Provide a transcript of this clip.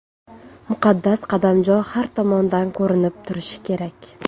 Muqaddas qadamjo har tomondan ko‘rinib turishi kerak.